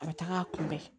A bɛ taga a kunbɛn